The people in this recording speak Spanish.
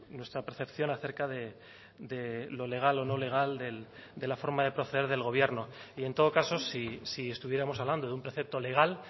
nuestra percepción acerca de lo legal o no legal de la forma de proceder del gobierno y en todo caso si estuviéramos hablando de un precepto legal